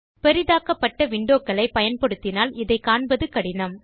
பெரிதாக்கப்பட்ட windowகளைப் பயன்படுத்தினால் இதைக் காண்பது கடினம்